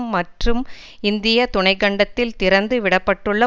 மற்றும் இந்திய துணை கண்டத்தில் திறந்து விட பட்டுள்ள